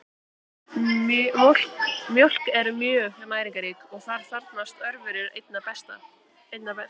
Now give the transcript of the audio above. Mjólk er mjög næringarrík og þar þrífast örverur einna best.